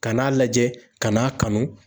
Ka n'a lajɛ ;ka n'a kanu.